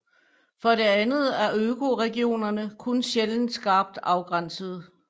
For det andet er økoregionerne kun sjældent skarpt afgrænsede